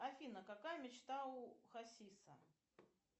афина какая мечта у хасиса